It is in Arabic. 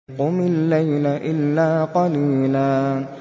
قُمِ اللَّيْلَ إِلَّا قَلِيلًا